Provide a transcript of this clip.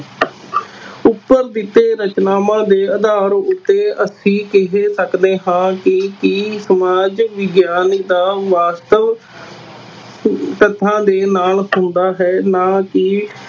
ਉੱਪਰ ਦਿੱਤੇ ਰਚਨਾਵਾਂ ਦੇ ਆਧਾਰ ਉੱਤੇ ਅਸੀਂ ਕਹਿ ਸਕਦੇ ਹਾਂ ਕਿ ਕਿ ਸਮਾਜ ਵਿਗਿਆਨ ਦਾ ਵਾਸਤਵ ਤੱਥਾਂ ਦੇ ਨਾਲ ਹੁੰਦਾ ਹੈ ਨਾ ਕਿ